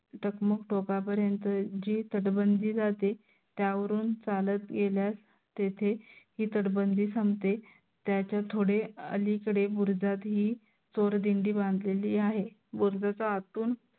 टकमक टोका पर्यंत जी तटबंदी जाते. त्यावरून चालत गेल्यास तेथे ही तटबंदी संपते. त्याच्या थोडे अलीकडे बुरुजात ही चोर दिंडी बांधलेली आहे. बुरुजाच्या आतून